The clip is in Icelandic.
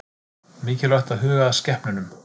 Mikilvægt að huga að skepnunum